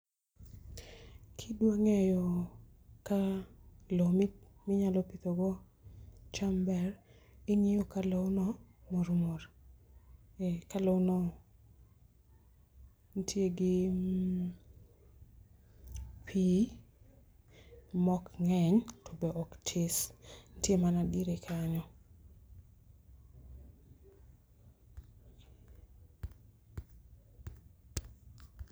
Kidwa ng'eyo ka lowo minyalo pidho go cham ber ,ing'iyo ka loo no mor mor. Ka loo no nitie gi pii mok ng'eny to bok tis nitie mana diere kanyo.